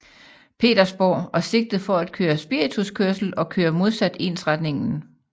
Petersborg og sigtet for at køre spirituskørsel og køre modsat ensretningen